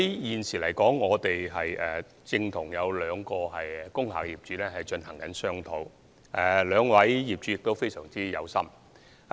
現時，我們正與兩位工廈業主進行商討，他們很有心。